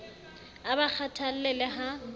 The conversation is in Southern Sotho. a ba kgathalle le ha